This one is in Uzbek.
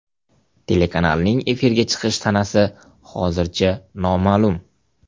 Telekanalning efirga chiqish sanasi hozircha noma’lum.